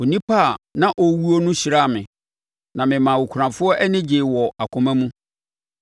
Onipa a na ɔrewuo no hyiraa me; na memaa akunafoɔ ani gyee wɔn akoma mu.